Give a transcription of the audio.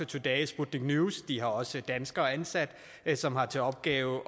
today og sputnik news de har også danskere ansat som har til opgave